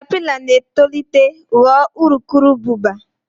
katapila na-etolite ghọọ urukurubụba.